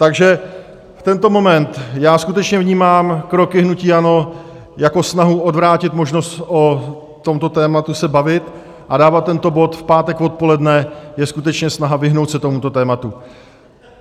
Takže v tento moment já skutečně vnímám kroky hnutí ANO jako snahu odvrátit možnost o tomto tématu se bavit a dávat tento bod v pátek odpoledne je skutečně snaha vyhnout se tomuto tématu.